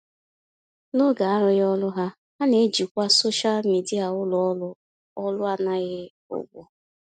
N'oge arụghị ọrụ ha, ha na-ejikwa soshal midịa ulọọrụ ọrụ anaghị ụgwọ.